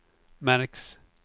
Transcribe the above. märks